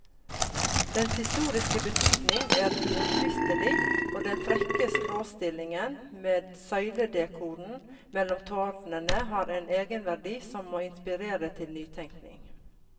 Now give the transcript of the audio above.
Dens historiske betydning er uomtvistelig, og den frekke skråstillingen med søyledekoren mellom tårnene har en egenverdi som må inspirere til nytenkning.